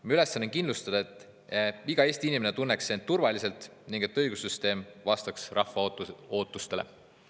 Meie ülesanne on kindlustada, et iga Eesti inimene tunneks end turvaliselt ning et õigussüsteem vastaks rahva ootustele.